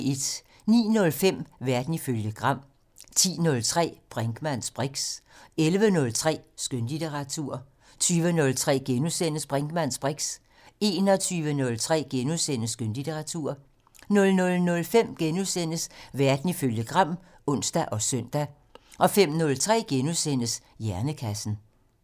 09:05: Verden ifølge Gram 10:03: Brinkmanns briks 11:03: Skønlitteratur 20:03: Brinkmanns briks * 21:03: Skønlitteratur * 00:05: Verden ifølge Gram *(ons og søn) 05:03: Hjernekassen *